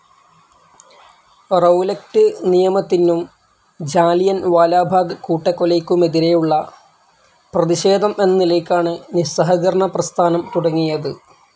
റൗലക്റ്റ് നിയമത്തിനും ജാലിയൻവാലാബാഗ് കൂട്ടക്കൊലയ്ക്കെതിരെയുള്ള പ്രതിഷേധം എന്ന നിലയ്ക്കാണ് നിസ്സഹകരണ പ്രസ്ഥാനം തുടങ്ങിയത്.